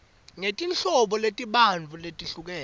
ngetinhlobo letibanti letehlukene